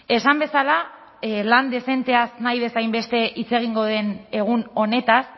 esan bezala lan dezenteaz nahi bezain beste hitz egingo den egun honetaz